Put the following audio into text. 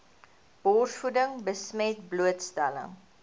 borsvoeding besmet blootstelling